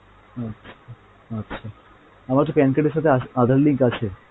আচ্ছা আচ্ছা, আমারতো PAN card এর সাথে aadhar link আছে।